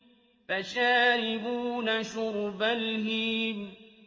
فَشَارِبُونَ شُرْبَ الْهِيمِ